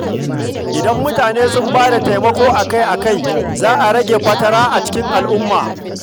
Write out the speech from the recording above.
Idan mutane sun bada taimako akai-akai, za a rage fatara a cikin al’umma.